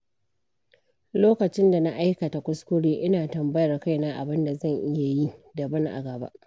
Lokacin da na aikata kuskure, ina tambayar kaina abin da zan iya yi daban a gaba.